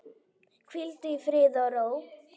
Hvíldu í friði og ró.